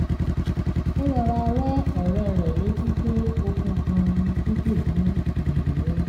ó rọra rán ọ̀rẹ́ rẹ̀ létí pé okun kan ni pípè fún ìrànlọ́wọ́